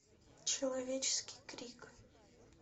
человеческий крик